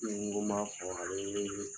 I n go n b'a fɔ, bi wele wele